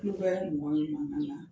I vɛ ni in kɔnɔna nana